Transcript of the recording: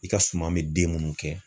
I ka suman me den munnu kɛ